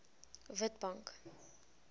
witbank